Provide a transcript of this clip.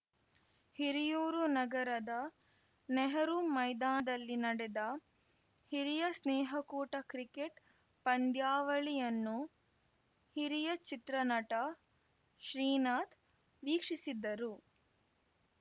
ಹಿರಿಯೂರು ನಗರದ ನೆಹರೂ ಮೈದಾನದಲ್ಲಿ ನಡೆದ ಹಿರಿಯ ಸ್ನೇಹಕೂಟ ಕ್ರಿಕೆಟ್‌ ಪಂದ್ಯಾವಳಿಯನ್ನು ಹಿರಿಯ ಚಿತ್ರನಟ ಶ್ರೀನಾಥ್‌ ವೀಕ್ಷಿಸಿದ್ದರು